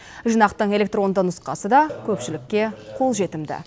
жинақтың электронды нұсқасы да көпшілікке қолжетімді